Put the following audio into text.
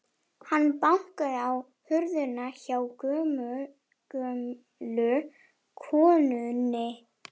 Hann bankaði á hurðina hjá gömlu konunni.